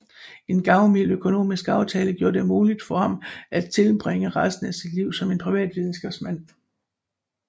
En gavmild økonomisk aftale gjorde det muligt for ham at tilbringe resten af sit liv som en privat videnskabsmand